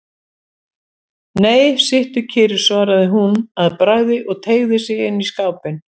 Nei, sittu kyrr, svaraði hún að bragði og teygði sig inn í skápinn.